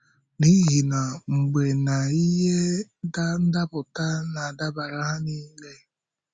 N’ihi na “mgbe na ihe ndapụta na-adabara ha niile.”